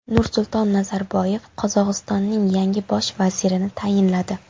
Nursulton Nazarboyev Qozog‘istonning yangi bosh vazirini tayinladi .